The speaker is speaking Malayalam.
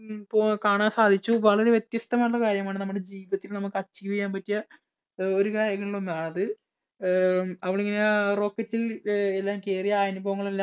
പൊ കാണാൻ സാധിച്ചു. വളരെ വ്യത്യസ്തമായിട്ടുള്ള കാര്യമാണ് നമുക്ക് നമ്മുടെ ജീവിതത്തിൽ നമുക്ക് achieve ചെയ്യാൻ പറ്റിയ ഒരു കാര്യങ്ങളിൽ ഒന്നാണത്. അവൾ ഇങ്ങനെ rocket ൽ എല്ലാം കേറി അനുഭവങ്ങളെല്ലാം